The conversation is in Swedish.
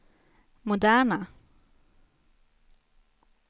moderna